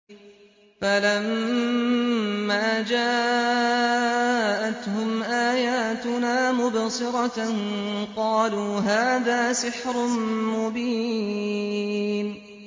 فَلَمَّا جَاءَتْهُمْ آيَاتُنَا مُبْصِرَةً قَالُوا هَٰذَا سِحْرٌ مُّبِينٌ